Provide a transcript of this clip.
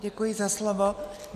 Děkuji za slovo.